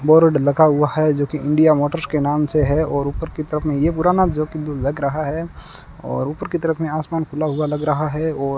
board लगा हुआ है जो की इंडिया मोटर्स के नाम से है और ऊपर की तरफ में ये पुराना जो कि लग रहा है और ऊपर की तरफ में आसमान खुला हुआ लग रहा है और --